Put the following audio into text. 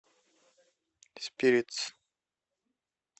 спиритс